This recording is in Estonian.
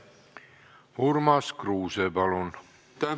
Urmas Kruuse, palun!